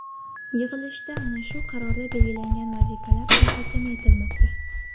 Yig‘ilishda ana shu qarorda belgilangan vazifalar muhokama etilmoqda.